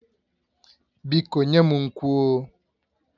Biko nye m nkwụ oh